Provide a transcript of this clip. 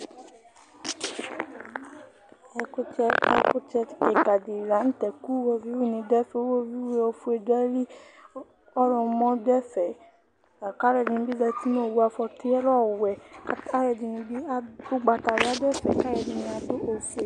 Ɛkʋtɛ kika di lanʋtɛ kʋ iwoviu ni dʋ ɛfɛ, iwoviu ofue dʋ ayili ɔwlɔmɔ dʋ ɛfɛ Lakʋ alʋɛdini bi zati nʋ owʋ afɔti lɛ ɔwɛ kʋ alʋɛdi bi adʋ ʋgbatawla kʋ adʋ ɛfɛ, kʋ alʋɛdini adʋ ofue